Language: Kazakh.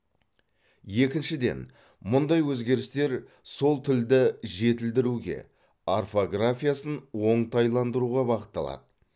екіншіден мұндай өзгерістер сол тілді жетілдіруге орфографиясын оңтайландыруға бағытталады